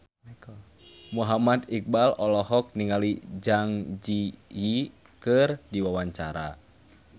Muhammad Iqbal olohok ningali Zang Zi Yi keur diwawancara